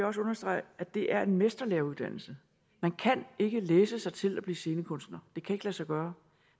også understrege at det er en mesterlæreuddannelse man kan ikke læse sig til at blive scenekunstner det kan sig gøre